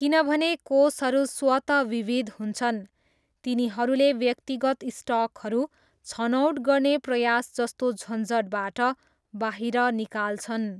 किनभने कोषहरू स्वत विविध हुन्छन्, तिनीहरूले व्यक्तिगत स्टकहरू छनौट गर्ने प्रयास जस्तो झन्झटबाट बाहिर निकाल्छन्।